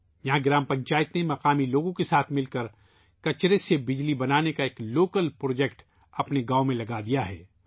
یہاں گرام پنچایت نے مقامی لوگوں کے ساتھ مل کر اپنے گاؤں میں کچرے سے بجلی پیدا کرنے کا پروجیکٹ گاؤں میں لگایا ہے